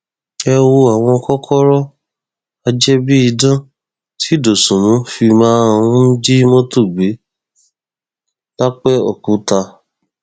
ẹ wo àwọn kòkòrò ajẹbíidán tí dosùnmù fi máa ń jí mọtò gbé lápẹòkúta